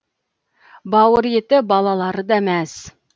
бауыр еті балалары да мәз